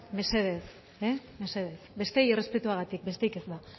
mesedez mesedez besteei errespetuagatik besterik ez ba